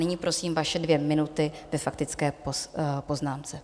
Nyní prosím, vaše dvě minuty ve faktické poznámce.